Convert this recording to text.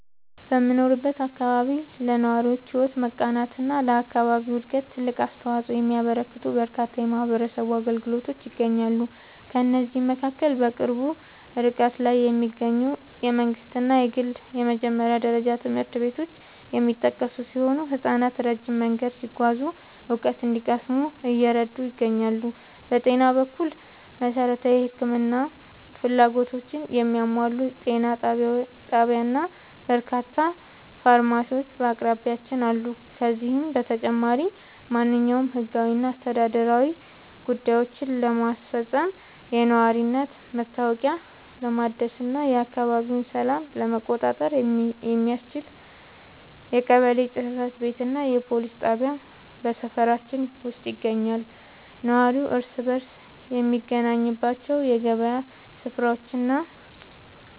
በምኖርበት አካባቢ ለነዋሪዎች ሕይወት መቃናትና ለአካባቢው ዕድገት ትልቅ አስተዋፅኦ የሚያበረክቱ በርካታ የማኅበረሰብ አገልግሎቶች ይገኛሉ። ከእነዚህም መካከል በቅርብ ርቀት ላይ የሚገኙ የመንግሥትና የግል የመጀመሪያ ደረጃ ትምህርት ቤቶች የሚጠቀሱ ሲሆን፣ ሕፃናት ረጅም መንገድ ሳይጓዙ እውቀት እንዲቀስሙ እየረዱ ይገኛሉ። በጤና በኩል፣ መሠረታዊ የሕክምና ፍላጎቶችን የሚያሟላ ጤና ጣቢያና በርካታ ፋርማሲዎች በአቅራቢያችን አሉ። ከዚህም በተጨማሪ፣ ማንኛውንም ሕጋዊና አስተዳደራዊ ጉዳዮችን ለማስፈጸም፣ የነዋሪነት መታወቂያ ለማደስና የአካባቢውን ሰላም ለመቆጣጠር የሚያስችል የቀበሌ ጽሕፈት ቤትና የፖሊስ ጣቢያ በሰፈራችን ውስጥ ይገኛሉ። ነዋሪው እርስ በርስ የሚገናኝባቸው የገበያ ሥፍራዎችና